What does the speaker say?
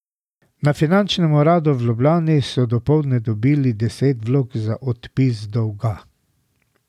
Na finančnem uradu v Ljubljani so dopoldne dobili deset vlog za odpis dolga.